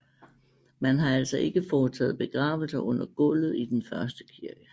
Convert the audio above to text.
Man har altså ikke foretaget begravelser under gulvet i den første kirke